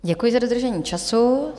Děkuji za dodržení času.